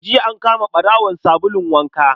Jiya an kama ɓarawon sabulun waka